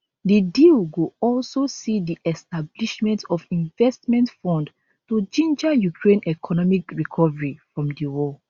di deal go also see di establishment of investment fund to ginger ukraine economic recovery from di war